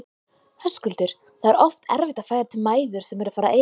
Höskuldur: Það er oft erfitt að færa til mæður sem eru að fara að eiga?